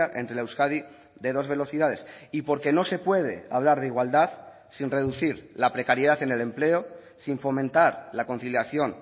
entre la euskadi de dos velocidades y porque no se puede hablar de igualdad sin reducir la precariedad en el empleo sin fomentar la conciliación